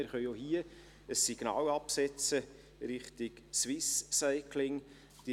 Wir können auch hier ein Signal Richtung Swiss Cycling absetzen.